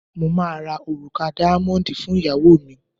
mo ma ra òrùka díámóndi fún ìyàwó mi